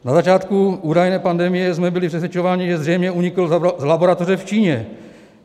Na začátku údajné pandemie jsme byli přesvědčování, že zřejmě unikl z laboratoře v Číně.